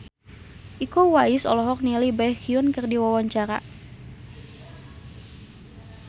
Iko Uwais olohok ningali Baekhyun keur diwawancara